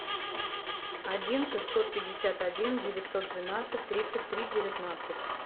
один шестьсот пятьдесят один девятьсот двенадцать тридцать три девятнадцать